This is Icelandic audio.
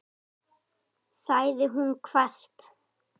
sagði hún hvasst.